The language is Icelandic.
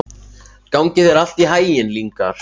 Gangi þér allt í haginn, Lyngar.